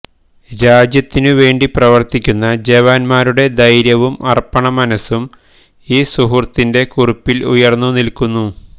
രാജ്യത്തിന് വേണ്ടി പ്രവര്ത്തിക്കുന്ന ജവാന്മാരുടെ ധൈര്യവും അര്പ്പണമനസും ഈ സുഹൃത്തിന്റെ കുറിപ്പില് ഉയര്ന്നുനില്ക്കുന്നു